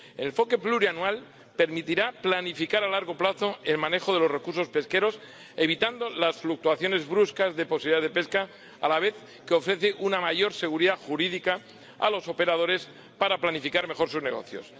El enfoque plurianual permitirá planificar a largo plazo el manejo de los recursos pesqueros, evitando las fluctuaciones bruscas de posibilidades de pesca, a la vez que ofrece una mayor seguridad jurídica a los operadores para planificar mejor sus negocios.